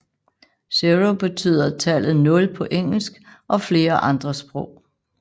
Zero betyder tallet 0 på engelsk og flere andre sprog